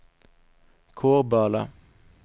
Kårböle